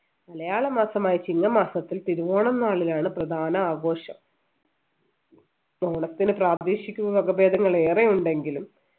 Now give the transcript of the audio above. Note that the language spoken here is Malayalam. മലയാളമാസമായ ചിങ്ങമാസത്തിൽ തിരുവോണം നാളിലാണ് പ്രധാനം ആഘോഷം ഓണത്തിന് പ്രാദേശിക വകഭേദങ്ങൾ ഏറെയുണ്ടെങ്കിലും